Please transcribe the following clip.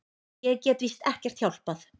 Ég get víst ekkert hjálpað.